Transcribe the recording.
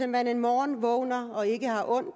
man en morgen vågner og ikke har ondt